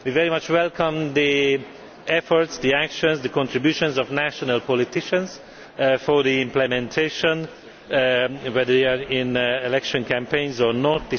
We very much welcome the efforts, the actions, the contributions of national politicians for implementation, whether they are in election campaigns or not